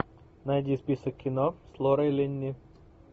найди список кино с лорой линни